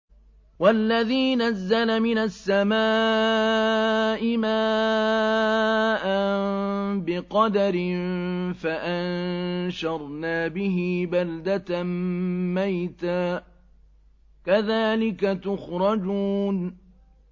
وَالَّذِي نَزَّلَ مِنَ السَّمَاءِ مَاءً بِقَدَرٍ فَأَنشَرْنَا بِهِ بَلْدَةً مَّيْتًا ۚ كَذَٰلِكَ تُخْرَجُونَ